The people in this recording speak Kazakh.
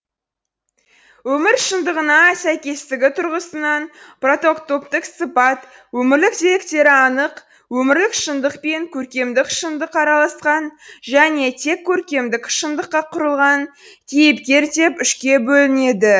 өмір шындығына сәйкестігі тұрғысынан прототоптік сыпат өмірлік деректері анық өмірлік шындық пен көркемдік шындық араласқан және тек көркемдік шындыққа құрылған кейіпкер деп үшке бөлінеді